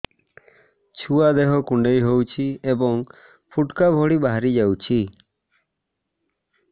ଛୁଆ ଦେହ କୁଣ୍ଡେଇ ହଉଛି ଏବଂ ଫୁଟୁକା ଭଳି ବାହାରିଯାଉଛି